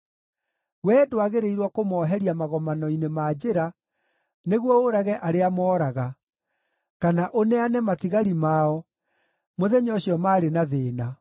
Wee ndwagĩrĩirwo kũmooheria magomano-inĩ ma njĩra nĩguo ũũrage arĩa mooraga, kana ũneane matigari mao mũthenya ũcio maarĩ na thĩĩna.